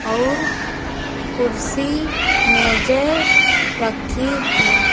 अउर कुर्सी मेजें रखी हैं।